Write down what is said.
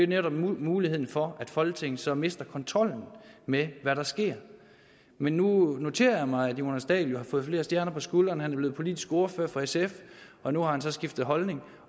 netop muligheden for at folketinget så mister kontrollen med hvad der sker men nu noterer jeg mig at herre jonas dahl har fået flere stjerner på skulderen han er blevet politisk ordfører for sf og nu har han så skiftet holdning